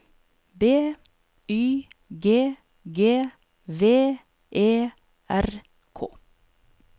B Y G G V E R K